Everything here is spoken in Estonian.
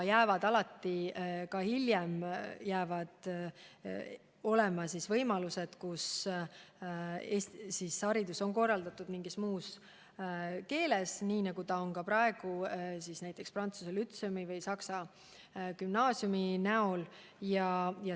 Aga alati, ka hiljem jäävad alles võimalused, et haridus on korraldatud mingis muus keeles, nii nagu see on praegu näiteks Tallinna Prantsuse Lütseumis või Tallinna Saksa Gümnaasiumis.